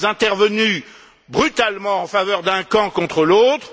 Nous sommes intervenus brutalement en faveur d'un camp contre l'autre.